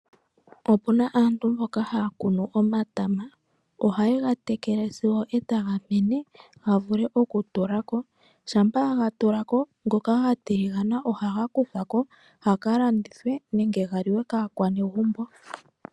Opuna aantu mboka haa kunu omatama. Oha ye ga tekele sigo eta ga mene opo ga vule oku tulako, shampa ga tulako, ngoka ga tiligana oha ga kuthwako, ga ka landithwe nenge ga liwe kaakwanezimo.